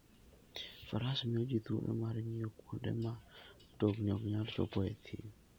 Faras miyo ji thuolo mar ng'iyo kuonde ma mtokni ok nyal chopoe e thim.